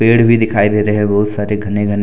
पेड़ भी दिखाई दे रहे हैं बहुत सारे घने घने--